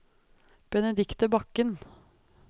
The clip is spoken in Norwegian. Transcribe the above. Benedicte Bakken